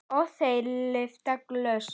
Og þeir lyfta glösum.